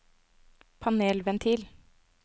panelventil